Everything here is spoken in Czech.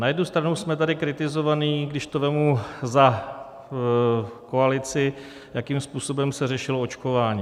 Na jednu stranu jsme tady kritizovaní, když to vezmu za koalici, jakým způsobem se řešilo očkování.